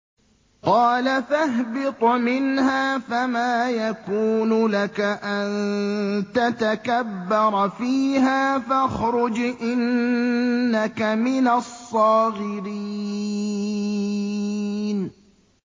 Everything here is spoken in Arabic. قَالَ فَاهْبِطْ مِنْهَا فَمَا يَكُونُ لَكَ أَن تَتَكَبَّرَ فِيهَا فَاخْرُجْ إِنَّكَ مِنَ الصَّاغِرِينَ